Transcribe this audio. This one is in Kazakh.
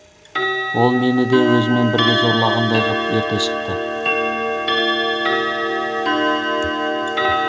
ол мені де өзімен бірге зорлағандай ғып ерте шықты